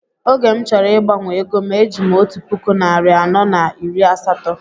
Oge m chọrọ ịgbanwe égóm e jim otu puku narị anọ na iri asatọ